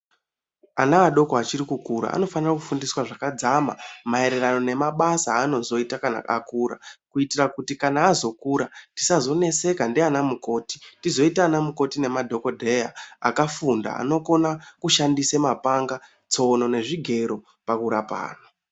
Ana adoko vachiri kukura anofanira kufundiswaa zvakadzama maererano nemabasa aanozoita kana akura kuitira kuti kana azokura tisazoneseka ndiana mukoti tizoita ana mukoti nemdhokodheyaa, akafunda, anokona kushandisa mapanga, tsono nezvigero pakurapa anhu.